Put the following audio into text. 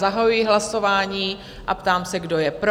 Zahajuji hlasování a ptám se, kdo je pro?